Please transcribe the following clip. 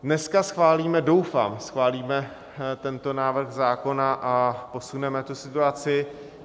Dneska schválíme, doufám schválíme, tento návrh zákona a posuneme tu situaci.